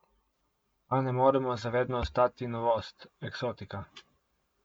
A ne moremo za vedno ostati novost, eksotika.